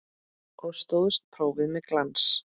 Og stóðst prófið með glans.